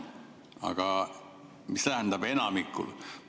Aga mis tähendab, et enamikul?